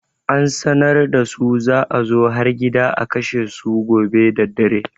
An sanar da su za a zo har gida a kashe su gobe daddare.